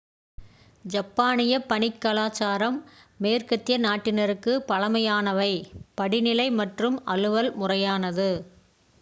ஜப்பானிய பணிக் கலாச்சாரம் மேற்கத்திய நாட்டினருக்குப் பழக்கமானவை படிநிலை மற்றும் அலுவல் முறையானது